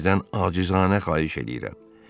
Sizdən acizanə xahiş eləyirəm.